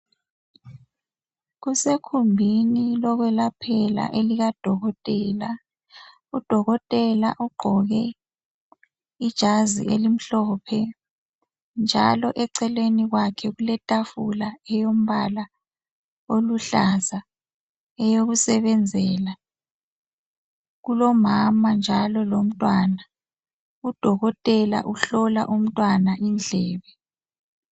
Kusekhumbini lokwelaphela elikaDokotela. UDokotela ugqoke ijazi elimhlophe njalo eceleni kwakhe kuletafula eyombala oluhlaza eyokusebenzela, kulomama njalo lomntwana. UDokotela uhlola umntwana indlebe.